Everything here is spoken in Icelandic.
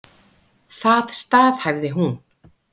Það staðhæfði hún.